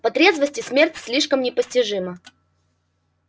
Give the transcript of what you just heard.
по трезвости смерть слишком непостижима